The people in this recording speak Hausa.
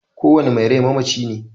Kowanne mai rai mamaci ne